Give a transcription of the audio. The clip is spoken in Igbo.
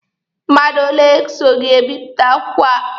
Mmadụ ole so gị bipụta akwụkwọ a?